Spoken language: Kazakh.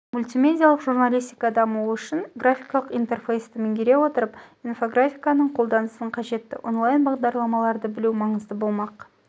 мультимедиалық журналистика дамуы үшін графикалық интерфейсті меңгере отырып инфографиканың қолданысын қажетті онлайн бағдарламаларды білу маңызды болмақ